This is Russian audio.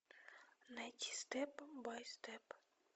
найди степ бай степ